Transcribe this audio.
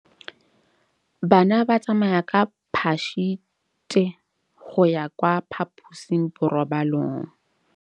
Bana ba tsamaya ka phašitshe go ya kwa phaposiborobalong.